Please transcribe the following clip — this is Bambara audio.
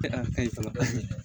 ka ɲi fana